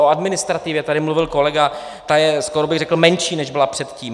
O administrativě tady mluvil kolega, ta je skoro bych řekl menší, než byla předtím.